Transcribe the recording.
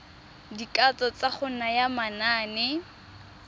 dikatso tsa go naya manane